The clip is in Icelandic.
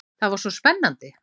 Það var svo spennandi.